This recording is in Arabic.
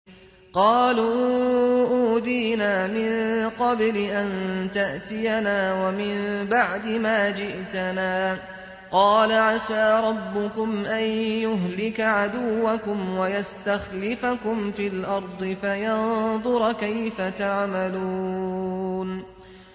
قَالُوا أُوذِينَا مِن قَبْلِ أَن تَأْتِيَنَا وَمِن بَعْدِ مَا جِئْتَنَا ۚ قَالَ عَسَىٰ رَبُّكُمْ أَن يُهْلِكَ عَدُوَّكُمْ وَيَسْتَخْلِفَكُمْ فِي الْأَرْضِ فَيَنظُرَ كَيْفَ تَعْمَلُونَ